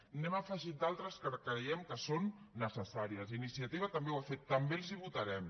n’hem afegit d’altres que creiem que són necessàries iniciativa també ho ha fet també els ho votarem